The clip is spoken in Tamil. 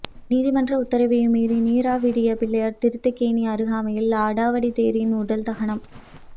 நீதிமன்ற உத்தரவையும் மீறி நீராவியடிப் பிள்ளையார் தீர்த்தக்கேணி அருகாமையில் அடாவடித் தேரின் உடல் தகனம்